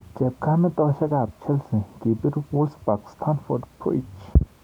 Chepkamitosiekab Chelsea kibir Wolfsburg Stamford Bridge.